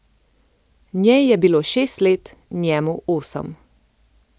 Njej je bilo šest let, njemu osem.